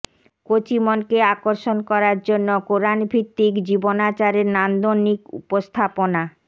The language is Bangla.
কচি মনকে আকর্ষণ করার জন্য কোরআনভিত্তিক জীবনাচারের নান্দনিক উপস্থাপনা